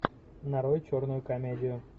нарой черную комедию